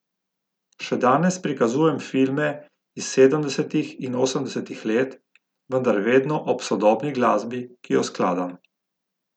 Še danes prikazujem filme iz sedemdesetih in osemdesetih let, vendar vedno ob sodobni glasbi, ki jo skladam.